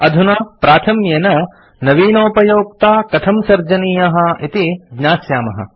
अधुना प्राथम्येन नवीनोपयोक्ता कथं सर्जनीयः इति ज्ञास्यामः